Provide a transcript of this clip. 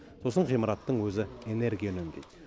сосын ғимараттың өзі энергия үнемдейді